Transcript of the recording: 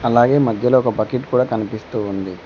అలాగే మద్యలో ఒక బకిట్ కూడా కనిపిస్తూ ఉంది.